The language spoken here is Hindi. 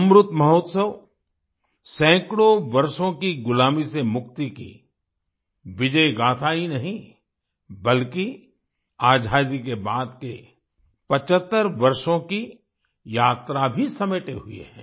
अमृत महोत्सव सैकड़ों वर्षों की गुलामी से मुक्ति की विजय गाथा ही नहीं बल्कि आज़ादी के बाद के 75 वर्षों की यात्रा भी समेटे हुए है